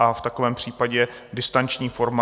A v takovém případě distanční forma...